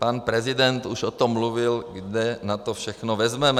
Pan prezident už o tom mluvil, kde na to všechno vezmeme.